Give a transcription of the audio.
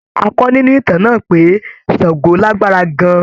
A kọ́ nínú ìtàn náà pé Sango lágbára gan-an.